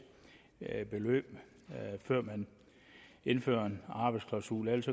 beløb før man indfører arbejdsklausuler ellers